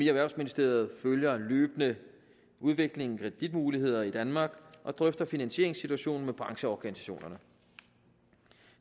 erhvervsministeriet følger løbende udviklingen i kreditmuligheder i danmark og drøfter finansieringssituationen med brancheorganisationerne